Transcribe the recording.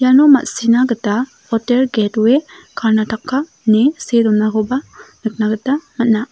iano ma·sina gita hotel get we karnataka ine see donakoba nikna gita man·a.